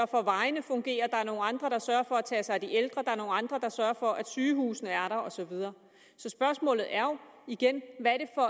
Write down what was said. for at vejene fungerer at der er nogle andre der sørger for at tage sig af de ældre at er nogle andre der sørger for at sygehusene er der og så videre så spørgsmålet er jo igen hvad